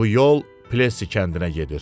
Bu yol Plesi kəndinə gedir.